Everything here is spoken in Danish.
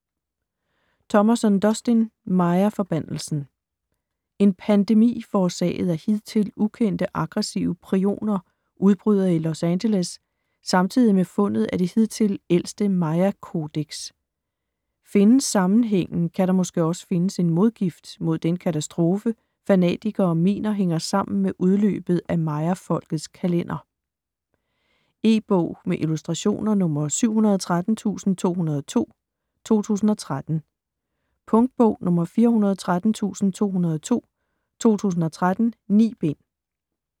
Thomason, Dustin: Mayaforbandelsen En pandemi forårsaget af hidtil ukendte aggressive prioner udbryder i Los Angeles samtidig med fundet af det hidtil ældste mayakodeks. Findes sammenhængen, kan der måske også findes en modgift mod den katastrofe, fanatikere mener hænger sammen med udløbet af mayafolkets kalender. E-bog med illustrationer 713202 2013. Punktbog 413202 2013. 9 bind.